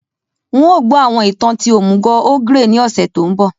N o gbọ àwọn ìtàn ti òmùgò ogre ni ọ̀ṣẹ̀ to nbọ